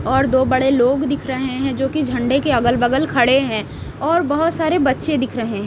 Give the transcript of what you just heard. और दो बड़े लोग दिख रहे हैं जो कि झंडे के अगल बगल खड़े हैं और बहुत सारे बच्चे दिख रहे हैं।